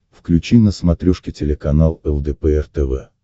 включи на смотрешке телеканал лдпр тв